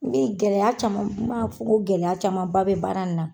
gɛlɛya caman n man fɔ ko gɛlɛya camanba bɛ baara nin na.